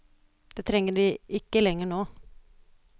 Den trenger de ikke lenger nå.